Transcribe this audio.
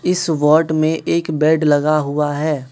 इस वार्ड में एक बेड लगा हुआ है।